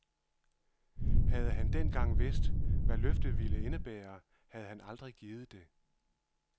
Havde han dengang vidst, hvad løftet ville indebære, havde han aldrig givet det.